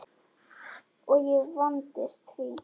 Og ég vandist því.